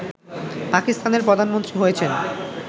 পাকিস্তানের প্রধানমন্ত্রী হয়েছেন